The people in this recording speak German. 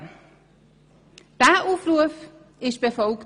Dieser Aufruf wurde befolgt.